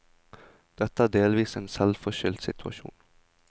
Dette er delvis en selvforskyldt situasjon.